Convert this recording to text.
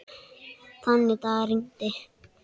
Þann dag rigndi.